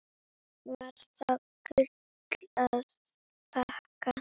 Var það Gullu að þakka.